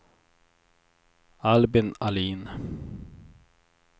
Albin Ahlin